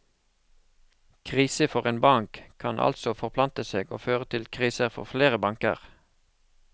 Krise for en bank, kan altså forplante seg og føre til kriser for flere banker.